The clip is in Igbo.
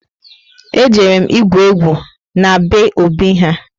E jere m igwu egwu na be Obi ha